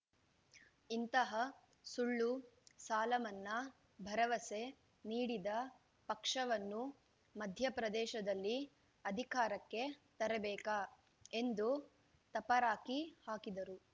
ಇಂತಹ ಸುಳ್ಳು ಸಾಲ ಮನ್ನಾ ಭರವಸೆ ನೀಡಿದ ಪಕ್ಷವನ್ನು ಮಧ್ಯಪ್ರದೇಶದಲ್ಲಿ ಅಧಿಕಾರಕ್ಕೆ ತರಬೇಕಾ ಎಂದು ತಪರಾಕಿ ಹಾಕಿದರು